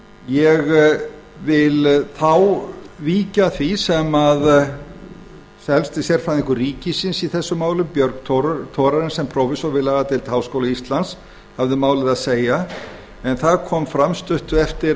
ég vil þá víkja að því sem helsti sérfræðingur ríkisins í þessum málum björg thorarensen prófessor við lagadeild háskóla íslands hafði um málið að segja en þar kom fram stuttu eftir